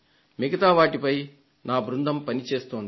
మిగతా వాటిపై నా బృందం పనిచేస్తోంది